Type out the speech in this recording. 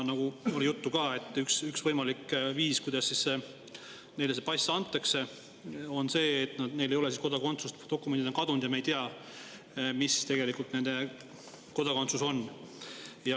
Oli juttu ka, et üks võimalik põhjus, miks neile see pass antakse, on see, et neil ei ole kodakondsust või dokumendid on kadunud ja me ei tea, mis tegelikult nende kodakondsus on.